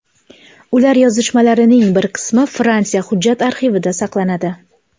Ular yozishmalarining bir qismi Fransiya hujjat arxivida saqlanadi.